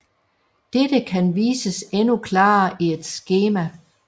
Dette kan vises endnu klarere i et skema